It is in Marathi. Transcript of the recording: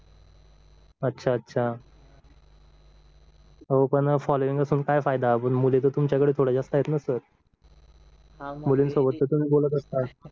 अच्छा अच्छा हो पण फॉलोविंग असून काय फायदा पण मुली तर तुमच्या कडे थोड्या जास्त आहेत ना सर मुलीसोबत तुम्ही बोलत असतात